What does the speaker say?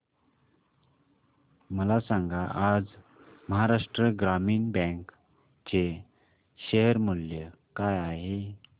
मला सांगा आज महाराष्ट्र ग्रामीण बँक चे शेअर मूल्य काय आहे